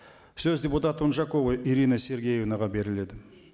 сөз депутат унжакова ирина сергеевнаға беріледі